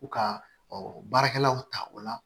U ka baarakɛlaw ta o la